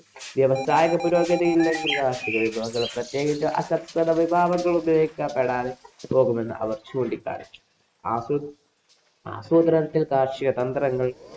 വ്യവസായ പുരോഗതിയില്ലെങ്കില്‍ പ്രത്യേകിച്ച് അസംസ്കൃതവിഭവങ്ങള്‍ ഉപയോഗിക്കപ്പെടാതെ പോകുമെന്ന് അവര്‍ ചൂണ്ടികാണിച്ചു. ആസൂ ആസൂത്രണത്തില്‍ കാര്‍ഷികതന്ത്രങ്ങള്‍